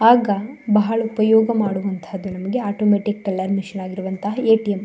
ಆಗ ಬಹಳ ಉಪಯೋಗ ಮಾಡುವಂತಹ ಆಟೋಮ್ಯಾಟಿಕ್ ಟೆಲ್ಲರ್ ಮಷೀನ್ ಆಗಿರುವತಹ ಏ.ಟಿ.ಎಂ .